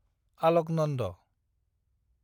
Alaknanda